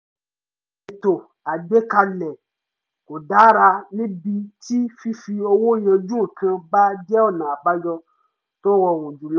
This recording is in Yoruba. ìṣètò àgbékalẹ̀ kò dára níbi tí fífi owó yanjú nǹkan bá jẹ́ ọ̀nà àbáyọ tó rọrùn jùlọ